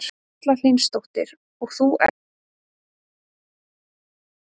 Erla Hlynsdóttir: Og þú ert með hérna banana líka?